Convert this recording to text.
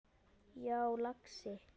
Já, lagsi.